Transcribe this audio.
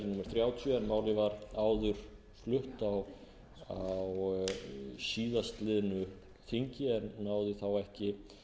þrjátíu en málið var áður flutt á síðastliðnu þingi en náði þá ekki